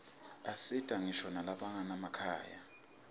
asita ngisho nalabanganamakhaya